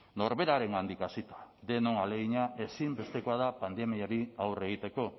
norberarengandik hasita denon ahalegina ezinbestekoa da pandemiari aurre egiteko